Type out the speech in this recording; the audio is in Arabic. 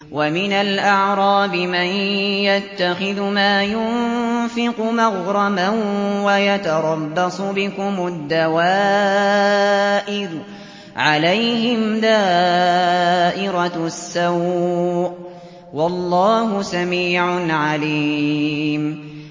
وَمِنَ الْأَعْرَابِ مَن يَتَّخِذُ مَا يُنفِقُ مَغْرَمًا وَيَتَرَبَّصُ بِكُمُ الدَّوَائِرَ ۚ عَلَيْهِمْ دَائِرَةُ السَّوْءِ ۗ وَاللَّهُ سَمِيعٌ عَلِيمٌ